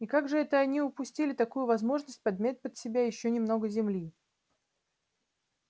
и как же это они упустили такую возможность подмять под себя ещё немного земли